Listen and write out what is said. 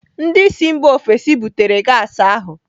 Ndị si mba ofesi butere gas ahụ.